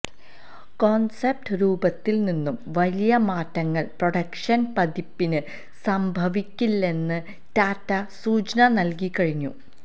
concept രൂപത്തില് നിന്നും വലിയ മാറ്റങ്ങള് പ്രൊഡക്ഷന് പതിപ്പിന് സംഭവിക്കില്ലെന്ന് ടാറ്റ സൂചന നല്കി കഴിഞ്ഞു